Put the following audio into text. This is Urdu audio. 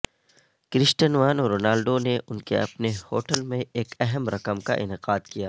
کرسٹنوانو رونالڈو نے ان کے اپنے ہوٹل میں ایک اہم رقم کا انعقاد کیا